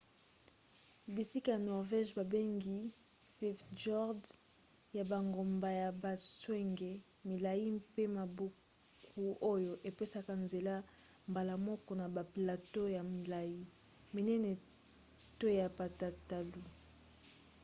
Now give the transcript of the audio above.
bisika ya norvege babengi fjords ya bangomba ya batswenge milai mpe mabwaku oyo epesaka nzela mbala moko na baplateau ya milai minene to ya patatalu